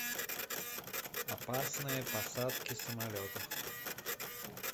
опасные посадки самолетов